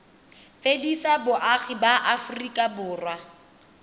fedisa boagi ba aforika borwa